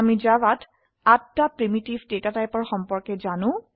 আমি জাভাত ৮টা প্ৰিমিটিভ ডেটা টাইপৰ সম্পৰ্কে জানো